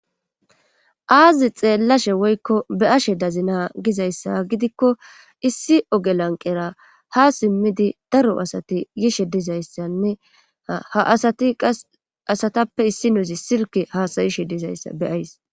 aazi xeellashe woykko be7ashe dazina gizayssa gidikko issi oge lanqera ha simmidi daro asati yishe dizayssanne ha asati qas asatappe issi nozi sirke haasayishe dizayssa beyays